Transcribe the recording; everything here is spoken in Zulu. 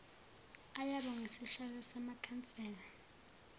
ayoba ngosihlalo bamakhansela